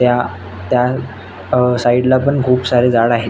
त्या त्या अ साईडला पण खुप सारे झाड आहेत.